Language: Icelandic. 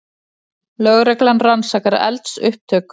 Lögreglan rannsakar eldsupptök